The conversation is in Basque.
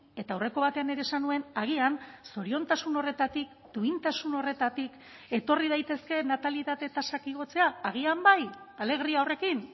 eta aurreko batean ere esan nuen agian zoriontasun horretatik duintasun horretatik etorri daitezke natalitate tasak igotzea agian bai alegria horrekin